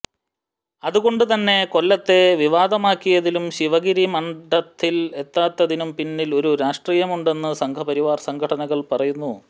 അതുകൊണ്ട് തന്നെ കൊല്ലത്തെ വിവാദമാക്കിയതിലും ശിവഗരി മഠത്തിൽ എത്താത്തിനും പിന്നിൽ ഒരു രാഷ്ട്രീയമുണ്ടെന്ന് സംഘപരിവാർ സംഘടനകൾ പറയുന്നു